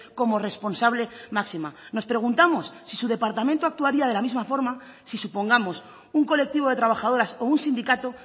como responsable máxima nos preguntamos si su departamento actuaría de la misma forma si supongamos un colectivo de trabajadoras o un sindicato